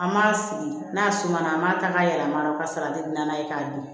An b'a sigi n'a suma na an b'a ta k'a yɛlɛma u ka sara ni n'a ye k'a dun